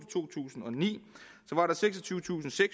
to tusind og ni var der seksogtyvetusinde